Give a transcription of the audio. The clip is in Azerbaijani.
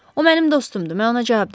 O mənim dostumdur, mən ona cavab deəm.